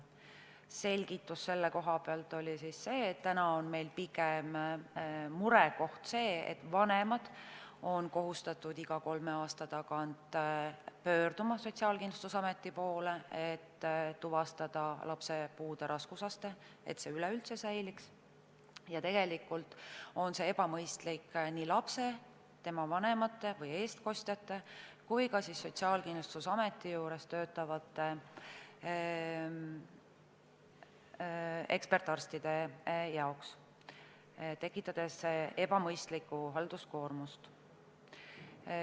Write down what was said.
Selgitus oli see, et täna on pigem murekoht see, et vanemad on kohustatud iga kolme aasta tagant pöörduma Sotsiaalkindlustusameti poole, et tuvastada lapse puude raskusaste, et see üleüldse säiliks, ja tegelikult on see ebamõistlik nii lapse, tema vanemate või eestkostjate kui ka Sotsiaalkindlustusameti juures töötavate ekspertarstide suhtes, tekitades ebamõistlikku halduskoormust.